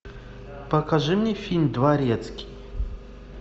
покажи мне фильм дворецкий